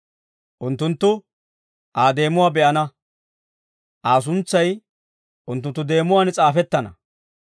Unttunttu Aa deemuwaa be'ana; Aa suntsay unttunttu deemuwaan s'aafettana.